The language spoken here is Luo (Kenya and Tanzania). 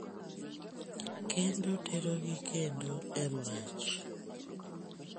kendo terogi kendo e mach